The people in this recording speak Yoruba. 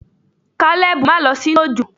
Kalebu ma lọ sinu ojo!